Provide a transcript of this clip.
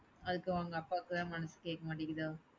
அதுக்கு உங்க அப்பாக்கு தான் மனசு கேக்க மாட்டின்குதோ?